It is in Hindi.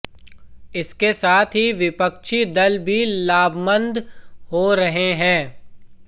इसके साथ ही विपक्षी दल भी लामबंद हो रहे हैं